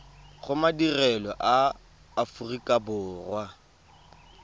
go madirelo a aforika borwa